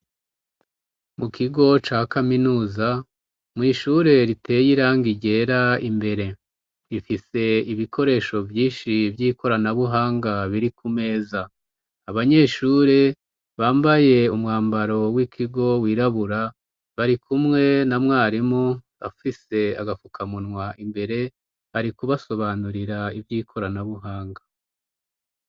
Mu kigo ca kaminuza mw'ishure riteye iranga irera imbere rifise ibikoresho vyinshi vy'ikoranabuhanga biri ku meza abanyeshure bambaye umwambaro w'ikigo wirabura bari kumwe na mwarimu afise agaka uka munwa imbere ari kubasobanurira ivyo ikoranabuhanga.